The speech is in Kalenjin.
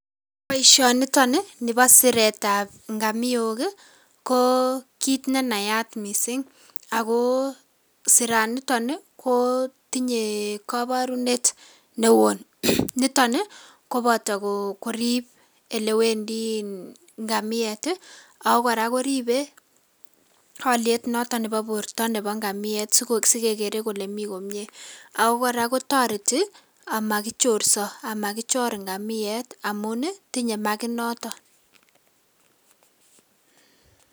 Boisioniton ni nibo siretab ngomiok ko kiit nenayat missing' ago siraniton ni kotinye koborunet newon. Niton ni koboto korib olewendiin ngamiet ii ak kora koribe oliet noton nebo borto nebo ngamiet siko sikekere kele mi komie ako kora kotoreti omokichorso amakichor ngamiet amun ii tinye makit noton.